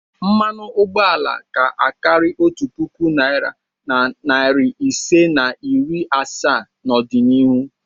Mmanụ ụgbọala ga-akarị otu puku naịra na narị isii na iri asaa n'ọdịnihu.